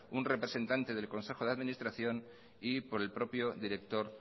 un representante del consejo de administración y por el propio director